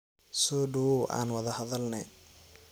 Sodhawow aan wadha hadhalne.